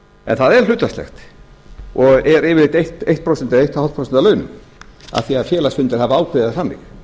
en það er hlutfallslegt og er yfirleitt eitt prósent eða eins og hálft prósent af launum af því að félagsfundir hafa ákveðið það þannig